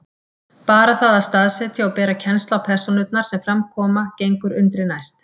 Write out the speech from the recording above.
Bara það að staðsetja og bera kennsl á persónurnar sem fram koma gengur undri næst.